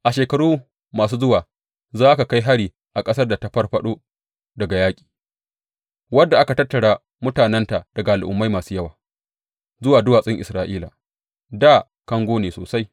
A shekaru masu zuwa za ka kai hari a ƙasar da ta farfaɗo daga yaƙi, wadda aka tattara mutanenta daga al’ummai masu yawa zuwa duwatsun Isra’ila, dā kango ne sosai.